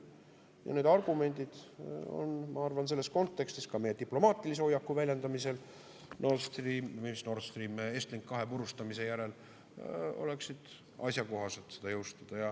Ja need argumendid, ma arvan, selles kontekstis, ka meie diplomaatilise hoiaku väljendamisel Estlink 2 purustamise järel oleksid asjakohased, et seda jõustada.